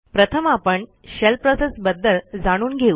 प्रथम आपण shell process बदल जाणून घेऊ